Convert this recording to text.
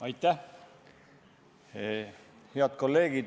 Head kolleegid!